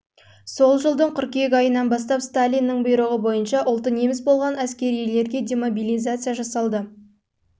жылдың қыркүйек айынан бастап сталиннің бұйрығы бойынша ұлты неміс болған әскерилер демобилизация жасалды